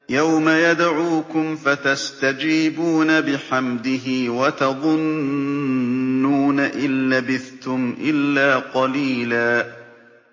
يَوْمَ يَدْعُوكُمْ فَتَسْتَجِيبُونَ بِحَمْدِهِ وَتَظُنُّونَ إِن لَّبِثْتُمْ إِلَّا قَلِيلًا